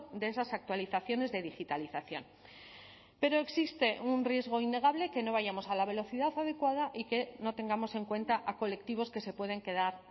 de esas actualizaciones de digitalización pero existe un riesgo innegable que no vayamos a la velocidad adecuada y que no tengamos en cuenta a colectivos que se pueden quedar